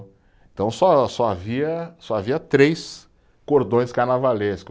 Então só só havia, só havia três cordões carnavalesco.